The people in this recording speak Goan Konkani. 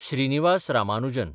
श्रीनिवास रामानुजन